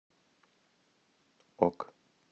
ок